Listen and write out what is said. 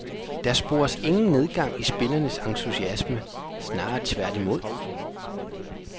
Der spores ingen nedgang i spillernes entusiasme, snarere tværtimod.